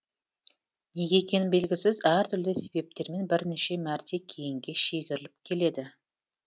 неге екені белгісіз әртүрлі себептермен бірнеше мәрте кейінге шегіріліп келеді